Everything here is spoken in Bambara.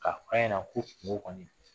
Ka f'a ɲɛ na ko kungo kɔɔni